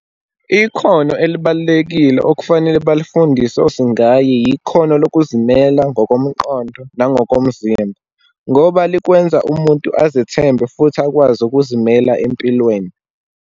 Ikhono elibalulekile okufanele balifundise oSingayi, yikhono lokuzimela ngokomqondo nangokomzimba, ngoba likwenza umuntu azethembe futhi akwazi ukuzimela empilweni.